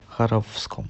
харовском